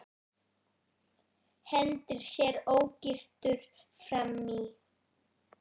Hendir sér ógyrtur fram í.